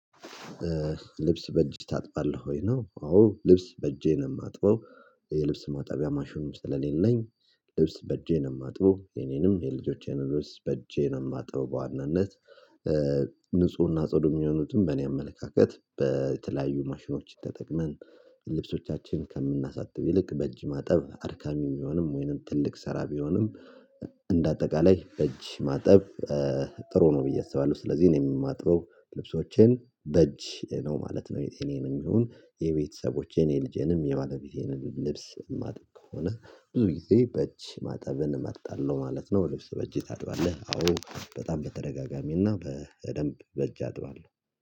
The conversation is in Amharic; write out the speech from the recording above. ልብስ በእጅ ታጥባለህ ወይ ነው? አዎ ልብስ በእጄ ነው የማጥበው የልብስ ማጣቢያ ማሹን ስለሌለኝ። ልብስ በእጄ ነው የማጥበው የኔንም የልጆቼንም ልብስ በእጄ ነው የማጥበው በዋናነት። ንፁህና ጽዱ የሚሆኑትን በእኔ አመለካከት በተለያዩ ማሽኖች ተጠቅመን ልብሶቻችን ከምናሳጥብ ይልቅ በእጅ ማጠብ አርካሚም ቢሆንም ወይንም ትልቅ ሰራቢውንም እንደ አጠቃላይ በእጅ ማጠብ። ጥሩ ነው ብዬ አስባለሁ። ስለዚህ እኔ የማጥበው ልብሶቼን በእጅ ነው ማለት ነው። የጤናዬንም ይሁን የቤተሰቦቼን የልጄንም የባለቤቴንም ልብስ ማጥብ ከሆነ ብዙ ጊዜ በእጅ ማጠብን እመጣለሁ ማለት ነው። ልብስ በእጅ ታድባለህ? አዎ በጣም በተደጋጋሚና በደንብ በእጅ አጥባለሁ